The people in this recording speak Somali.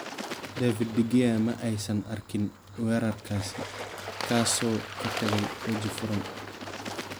David De Gea ma aysan arkin weerarkaasi, kaasoo ka tagay waji furan.